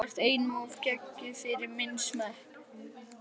þú ert einum of geggjuð fyrir minn smekk.